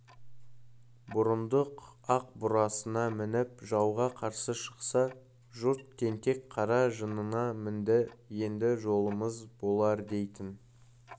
бұрындық ақ бурасына мініп жауға қарсы шықса жұрт тентек қара жынына мінді енді жолымыз болардейтін